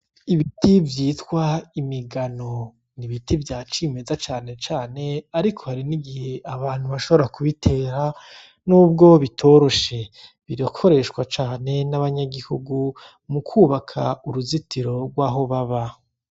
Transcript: Ibiti vyitwa imigano , n'ibiti vya cimeza cane cane ariko hari n'igihe abantu bashobora ku bitera nubwo bitoroshe birakoreshwa cane n'abanyagihugu mukubaka uruzitiro rwaho baba.